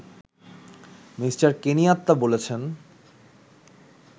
Me. Kenyatta বলেছেন